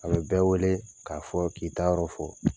A bɛ bɛɛ wele k'a fɔ k'i taa yɔrɔ fɔ